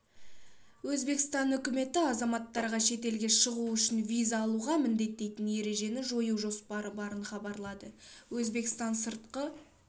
өзбекстан үкіметі азаматтарға шетелге шығу үшін виза алуға міндеттейтін ережені жою жоспары барын хабарлады өзбекстан сыртқы